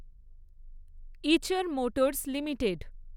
Eicher Motors limited